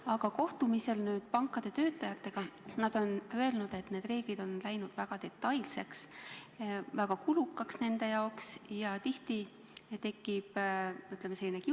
Aga kohtumistel pankade töötajatega on nad öelnud, et need reeglid on läinud väga detailseks, panga jaoks väga kulukaks ja tihti tekib kiusatus konto sulgeda.